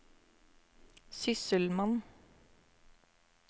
sysselmann